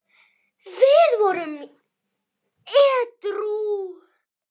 Við vorum edrú.